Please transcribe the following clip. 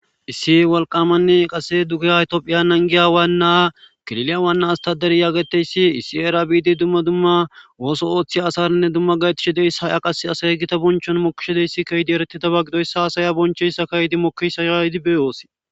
Issi walqamanni qase duke haytioophiya nangiyawanna kililiyawanna astaderiyaageteyssi issi era biidi dumma dumma wooso ooththe asarinne dumma gayetishi deys haya qase asaye gita bonchon mokishodeyssi kaydi ereteda ba gidoyssa asaya bonchoyssa kayidi mokkisa ha hidi beyoosi.